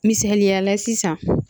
Misaliya la sisan